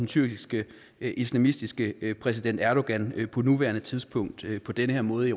tyrkiske islamistiske præsident erdogan på nuværende tidspunkt på den her måde i